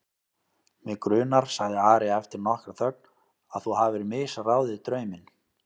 Mig grunar, sagði Ari eftir nokkra þögn,-að þú hafir misráðið drauminn.